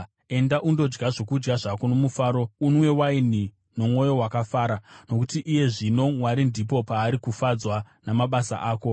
Enda, undodya zvokudya zvako nomufaro, unwe waini nomwoyo wakafara, nokuti iye zvino Mwari ndipo paari kufadzwa namabasa ako.